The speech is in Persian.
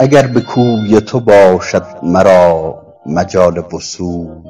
اگر به کوی تو باشد مرا مجال وصول